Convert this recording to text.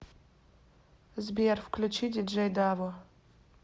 сбер включи диджей даво